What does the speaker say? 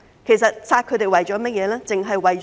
其實殺大象的目的為何？